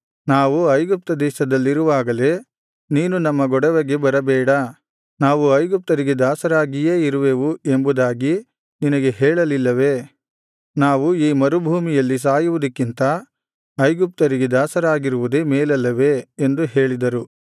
ನಾವು ಐಗುಪ್ತ ದೇಶದಲ್ಲಿರುವಾಗಲೇ ನೀನು ನಮ್ಮ ಗೊಡವೆಗೆ ಬರಬೇಡ ನಾವು ಐಗುಪ್ತ್ಯರಿಗೆ ದಾಸರಾಗಿಯೇ ಇರುವೆವು ಎಂಬುದಾಗಿ ನಿನಗೆ ಹೇಳಲಿಲ್ಲವೇ ನಾವು ಈ ಮರುಭೂಮಿಯಲ್ಲಿ ಸಾಯುವುದಕ್ಕಿಂತ ಐಗುಪ್ತ್ಯರಿಗೆ ದಾಸರಾಗಿರುವುದೇ ಮೇಲಲ್ಲವೇ ಎಂದು ಹೇಳಿದರು